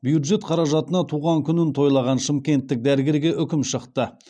бюджет қаражатына туған күнін тойлаған шымкенттік дәрігерге үкім шықты